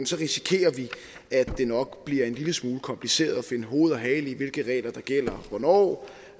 så risikerer vi at det nok bliver en lille smule kompliceret at finde hoved og hale i hvilke regler der gælder hvornår